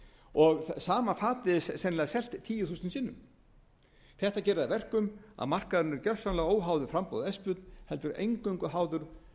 er sennilega selt tíu þúsund sinnum þetta gerir það að verkum að markaðurinn er gersamlega óháður framboði og eftirspurn heldur eingöngu háður